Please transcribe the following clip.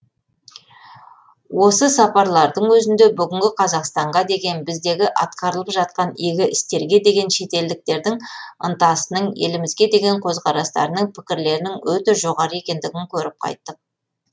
осы сапарлардың өзінде бүгінгі қазақстанға деген біздегі атқарылып жатқан игі істерге деген шетелдіктердің ынтасының елімізге деген көзқарастарының пікірлерінің өте жоғары екендігін көріп қайттық